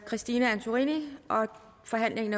forhandlingen